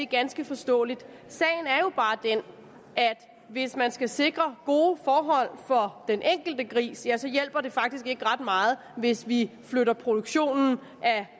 ganske forståeligt sagen er jo bare den at hvis man skal sikre gode forhold for den enkelte gris ja så hjælper det faktisk ikke ret meget hvis vi flytter produktionen